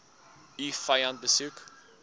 u vyand beskou